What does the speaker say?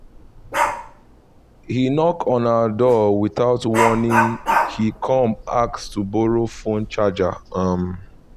he knock on our door without warning he come ask to borrow phone charger um